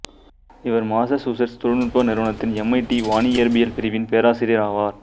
இவர் மாசசூசெட்ஸ் தொழில்நுட்ப நிறுவனத்தின் எம்ஐடி வானியற்பியல் பிரிவின் பேராசியர் ஆவார்